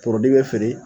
Forodi bɛ feere